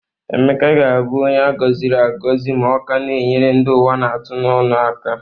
Emeka ga-abụ onye a gọziri agọ ma ọ ka na-enyere ndị ụwa na-atụ n'onụ aka